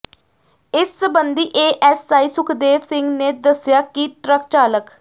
ਇਸ ਸਬੰਧੀ ਏਐਸਆਈ ਸੁਖਦੇਵ ਸਿੰਘ ਨੇ ਦਸਿਆ ਕਿ ਟਰੱਕ ਚਾਲਕ